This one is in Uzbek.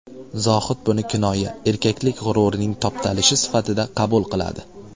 Zohid buni kinoya, erkaklik g‘ururining toptalishi sifatida qabul qiladi.